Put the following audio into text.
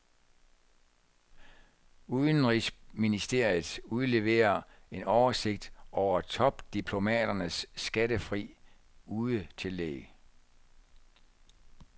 Udenrigsministeriet udleverer en oversigt over topdiplomaternes skattefri udetillæg.